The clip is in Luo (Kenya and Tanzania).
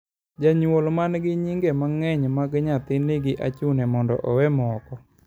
Janyuol man gi nyinge mangeny mag nyathi nigi achune mondo owe moko